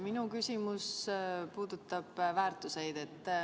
Minu küsimus puudutab väärtuseid.